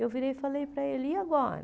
Eu virei e falei para ele, e agora?